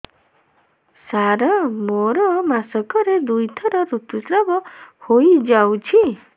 ସାର ମୋର ମାସକରେ ଦୁଇଥର ଋତୁସ୍ରାବ ହୋଇଯାଉଛି